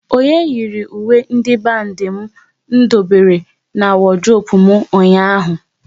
Onye yiri uwe ndị bandi m dobere n'wodurope m ụnyaahụ?